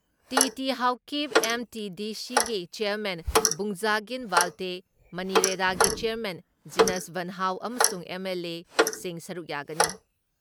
T.T.. Haokip, ꯑꯦꯝ.ꯇꯤ.ꯗꯤ.ꯁꯤꯒꯤ chairman Vungzagin Valte, ꯃꯅꯤꯔꯦꯗꯥꯒꯤ chairman Jinsuanhau ꯑꯃꯁꯨꯡ ꯑꯦꯝ.ꯑꯦꯜ.ꯑꯦꯁꯤꯡ ꯁꯔꯨꯛ ꯌꯥꯒꯅꯤ ꯫